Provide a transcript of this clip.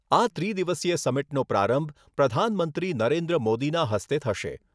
આ ત્રિદિવસીય સમિટનો પ્રારંભ પ્રધાનમંત્રી નરેન્દ્ર મોદીના હસ્તે થશે.